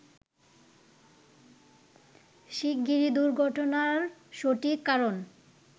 শিগগিরই দুর্ঘটনার সঠিক কারণ